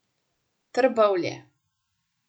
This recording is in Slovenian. Trbovlje.